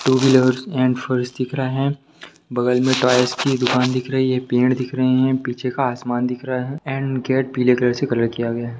To wheelers and फर्श दिख रहा है बगल में टाइल्स की एक दुकान दिख रही है पेड़ दिख रहे हैं पीछे का आसमान दिख रहा है एंड गेट पीले कलर से कलर किया गया है।